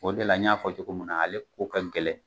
O de la n y'a fɔ cogo munna na, ale ko ka gɛlɛn,